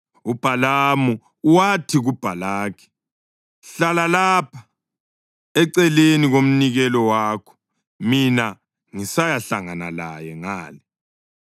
UBhalamu wathi kuBhalaki, “Hlala lapha eceleni komnikelo wakho mina ngisayahlangana laye ngale.”